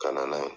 Ka na n'a ye